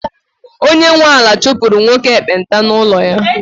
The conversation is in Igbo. onye nwe ala chụpụrụ nwoke ekpenta n’ụlọ ya